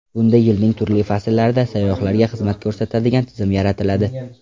Bunda yilning turli fasllarida sayyohlarga xizmat ko‘rsatadigan tizim yaratiladi.